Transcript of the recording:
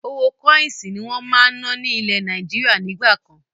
Owó kọ́insì ni wọn máa ń ná ni ilẹ̀ Nàìjíríà nígbà kan.